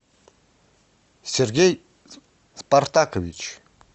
сергей спартакович